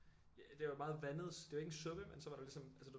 Det var meget vandet så det var ikke en suppe men så var der ligesom altså du ved